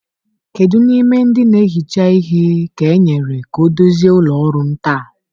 Kedu n'ime ndị na-ehicha ihe ka e kenyere ka ọ dozie ụlọ ọrụ m taa?